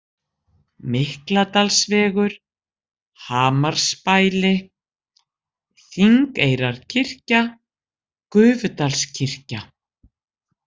Mikladalsvegur, Hamarsbæli, Þingeyrarkirkja, Gufudalskirkja